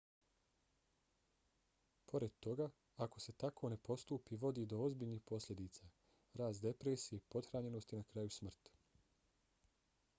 pored toga ako se tako ne postupi vodi do ozbiljnih posljedica: rast depresije pothranjenost i na kraju smrt